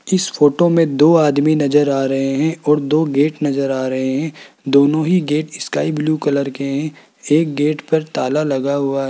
इस फोटो में दो आदमी नजर आ रहे हैं और दो गेट नजर आ रहे हैं दोनों ही गेट स्काई ब्लू कलर के हैं एक गेट पर ताला लगा हुआ --